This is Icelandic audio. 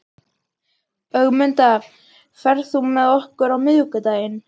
Ögmunda, ferð þú með okkur á miðvikudaginn?